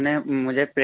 उन्होंने मुझे